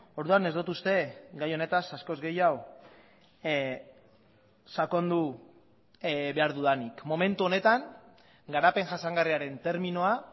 orduan ez dut uste gai honetaz askoz gehiago sakondu behar dudanik momentu honetan garapen jasangarriaren terminoa